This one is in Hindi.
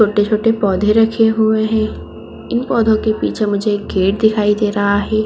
छोटे-छोटे पौधे रखे हुए है इन पौधो के पीछे मुझे गेट दिखाई दे रहा है।